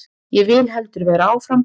Ég vil heldur vera áfram.